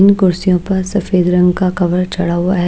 तीन कुर्सियों पर सफेद रंग का कवर चढ़ा हुआ है।